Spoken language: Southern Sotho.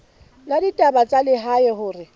la ditaba tsa lehae hore